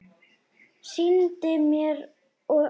Sýndi mér og okkur